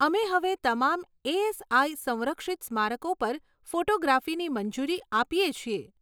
અમે હવે તમામ એએસઆઈ સંરક્ષિત સ્મારકો પર ફોટોગ્રાફીની મંજૂરી આપીએ છીએ.